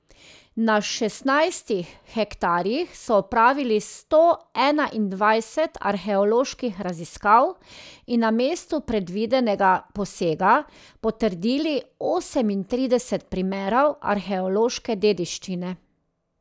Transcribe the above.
Na šestnajstih hektarjih so opravili sto enaindvajset arheoloških raziskav in na mestu predvidenega posega potrdili osemintrideset primerov arheološke dediščine.